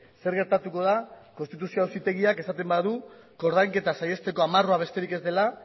zer gertatuko da konstituzioa auzitegiak esaten badu koordainketa saietako amarrua besterik ez dela